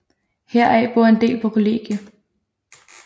Heraf bor en del på kollegie